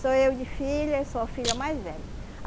Sou eu de filha e sou a filha mais velha.